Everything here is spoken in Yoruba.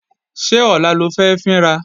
Ṣé ọ̀la lo fẹ́ fín ra?